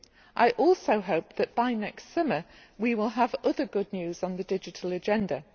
I also hope that by next summer we will have other good news on the digital agenda.